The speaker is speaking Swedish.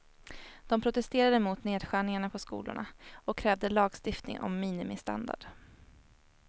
De protesterade mot nedskärningarna på skolorna och krävde lagstiftning om minimistandard.